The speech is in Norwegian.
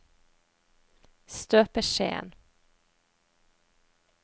støpeskjeen